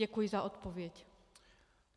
Děkuji za odpověď.